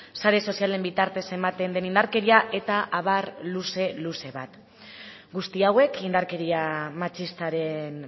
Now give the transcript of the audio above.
sare sozialen bitartez ematen den indarkeria eta abar luze luze bat guzti hauek indarkeria matxistaren